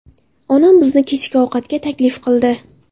Onam bizni kechki ovqatga taklif qildi.